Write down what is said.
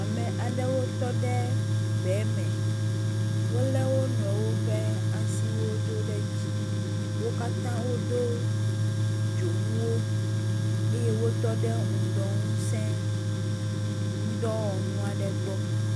Ame aɖewo tɔ ɖe gbe me. Wolé wonuiwo ƒe asiwo do ɖe dzi. Wo katã wodo dzonuwo eye wotɔ ɖe ŋdɔ ŋusẽ dɔwɔnu aɖe gbɔ.